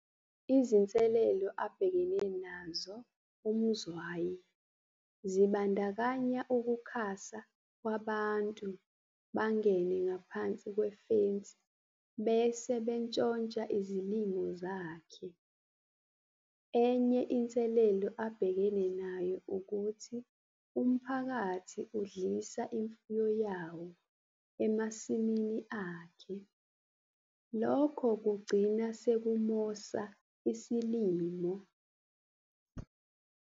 Izinselelo abhekene nazo uMzwayi zibandakanya ukukhasa kwabantu bangene ngaphansi kwefensi bese bentshontshe izilimo zakhe. Enye inselelo abhekene nayo ukuthi umphakathi udlisa imfuyo yawo emasimini akhe, lokho kugcina sekumosa isilimo.